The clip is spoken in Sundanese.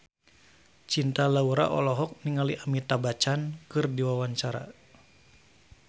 Cinta Laura olohok ningali Amitabh Bachchan keur diwawancara